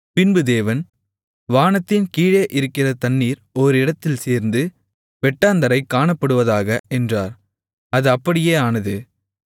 பின்பு தேவன் வானத்தின் கீழே இருக்கிற தண்ணீர் ஓரிடத்தில் சேர்ந்து வெட்டாந்தரை காணப்படுவதாக என்றார் அது அப்படியே ஆனது